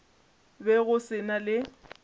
be go se na le